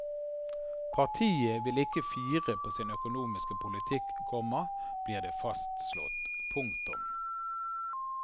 Partiet vil ikke fire på sin økonomiske politikk, komma blir det fastslått. punktum